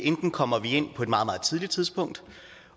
kommer vi enten ind på et meget meget tidligt tidspunkt